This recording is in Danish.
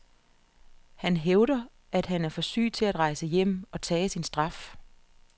Han hævder, at han er for syg til at rejse hjem og tage sin straf.